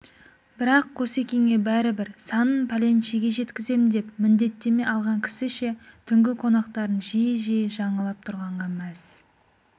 бірақ қосекеңе бәрібір санын пәленшеге жеткізем деп міндеттеме алған кісіше түнгі қонақтарын жиі-жиі жаңалап тұрғанға мәз